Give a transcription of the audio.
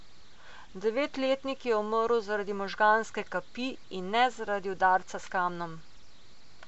Devetletnik je umrl zaradi možganske kapi in ne zaradi udarca s kamnom.